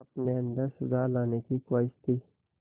अपने अंदर सुधार लाने की ख़्वाहिश थी